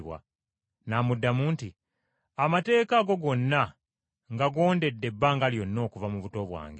N’amuddamu nti, “Amateeka ago gonna ngagondedde ebbanga lyonna okuva mu buto bwange.”